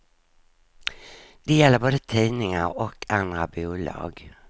Det gäller både tidningar och andra bolag.